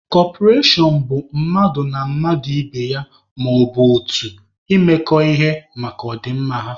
Kọperashọn bụ mmadụ na mmadụ ibe ya, maọbụ otu imekọ ihe maka ọ dị mma ha.